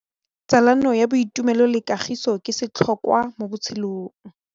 Tsalano ya boitumelo le kagiso ke setlhôkwa mo botshelong.